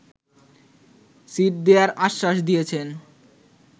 seat দেয়ার আশ্বাস দিয়েছেন